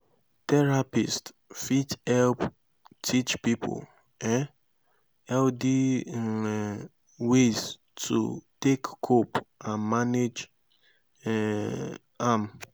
therapists fit help teach pipo um healthy um ways to take cope and manage um am